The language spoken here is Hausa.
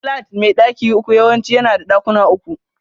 Flat mai daki uku yawanci yana da ɗakuna uku.